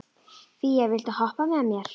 Fía, viltu hoppa með mér?